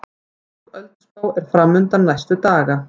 Þung ölduspá er framundan næstu daga